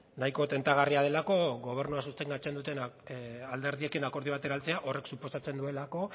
nahiko tentagarria delako gobernua sostengatzen duten alderdiekin akordio batera heltzea horrek suposatzen duelako